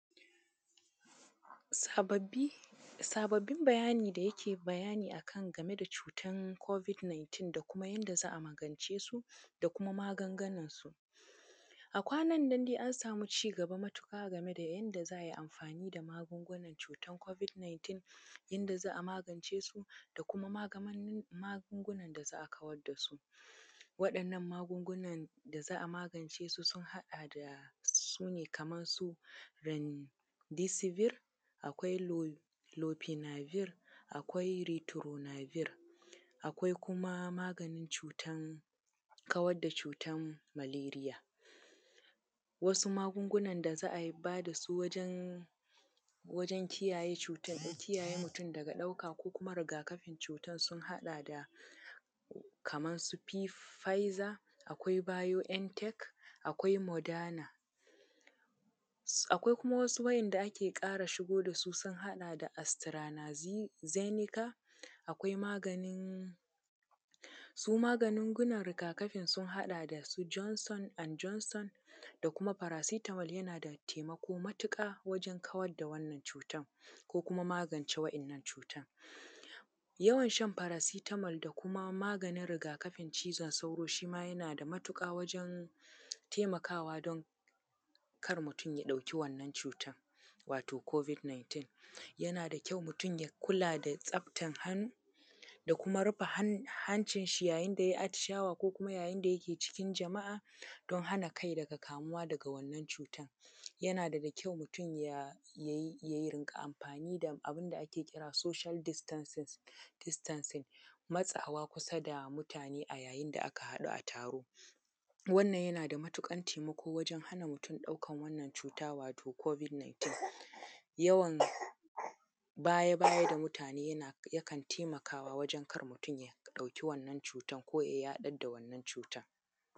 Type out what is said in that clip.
Sababbi. Sababbin bayani da yake bayani a kan game da cutar Covid 19, da kuma yadda za a magance su, da kuma magungunansu. A kwanan nan dai an samu cigaba matuƙa game da yadda za a yi amfani da magungunan cutar Covid 19, yadda za a magance su da kuma magungunan da za a kawar da su. Waɗannan magungunan da za a magance su sun haɗa da, su ne kamar su, remdesivir, akwai lopinavir, akwai ritonavir. Akwai kuma maganin cuta, kawar da cutar maleria. Wasu magungunan da za a ba da su wajen, wajen kiyaye cutar, da kiyaye mutum daga ɗaukar kuma rigakafin cutar, sun haɗa da, kamar su Pfizer, akwai BioNTech, akwai moderna. Akwai kuma wasu wa`yanda ake ƙara shigo da su sun haɗa da, AstraZeneca, akwai maganin, su magungunan riga-kafin sun haɗa da, su Johnson and Johnson da kuma paracetamol yana da taimako matuƙa wajen kawar da wannan cutar, ko kuma magance waɗannan cutar. Yawan shan paracetamol da kuma maganin riga-kafin cizon sauro shi ma yana da matuƙa wajen taimakawa don kar mutum ya ɗauki wannan cutar, wato Covid 19. Yana da kyau mutum ya kula da tsaftar hannu, da kuma rufe hancinshi yayin da ya yi atishawa ko kuma yayin da yake cikin jama'a, don hana kai daga kamuwa daga wannan cutar. Yana daga kyau mutum ya riƙa amfani da abun da ake kira social distances, distancing, matsawa kusa da mutane a yayin da aka haɗu a taro. Wannan yana da matuƙar taimako wajen hana mutum ɗaukar wannan cuta, wato Covid 19. Yawan baya-baya da mutane yana, yakan taimakawa wajen kar mutum ya ɗauki wannan cutar, ko ya yaɗar da wannan cutar.